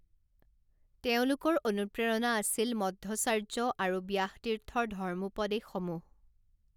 তেওঁলোকৰ অনুপ্ৰেৰণা আছিল মধ্বচাৰ্য আৰু ব্যাসতীৰ্থৰ ধৰ্মোপদেশসমূহ।